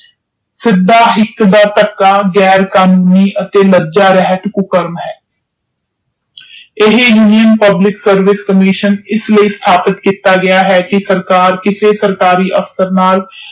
ਸਿੱਧਾ ਹਿਕ ਦਾ ਧੱਕਾ ਗੈਰ ਕਾਨੂੰਨੀ ਅਤੇ ਲੱਜਾ ਰਹਿਤ ਕੁਕਰਮ ਹੈ ਇਹੀ ਮੁਹਿਮ ਪਬਲਿਕ ਸਰਵਿਸ ਕਾਮਿਸ਼ਨ ਇਸਲਯੀ ਸਥਾਪਿਤ ਕੀਤਾ ਗਿਆ ਹੈ ਕਿ ਸਰਕਾਰ ਕਿਸੇ ਸਰਕਾਰੀ ਅਫਸਰ ਨਾਲ।